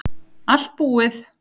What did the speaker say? Allt búið